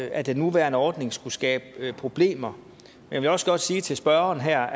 at den nuværende ordning skulle skabe problemer jeg vil også godt sige til spørgeren her